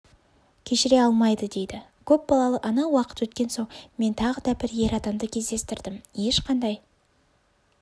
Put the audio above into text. кешіре алмайды дейді көпбалалы ана уақыт өткен соң мен тағы да бір ер адамды кездестірдім ешқандай